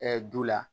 du la